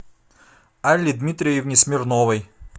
алле дмитриевне смирновой